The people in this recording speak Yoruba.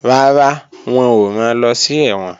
Rárá, wọn ò ran lọ sí ẹ̀wọ̀n